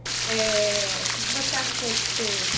É ... O que você achou de ter...